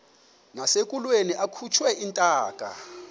nasekulweni akhutshwe intaka